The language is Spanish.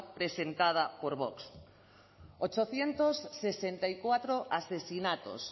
presentada por vox ochocientos sesenta y cuatro asesinatos